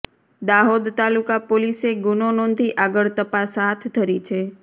દાહોદ તાલુકા પોલીસે ગુનો નોંધી આગળ તપાસ હાથ ધરી છે